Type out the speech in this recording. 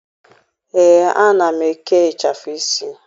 Ee, ana m eke ịchafụ isi.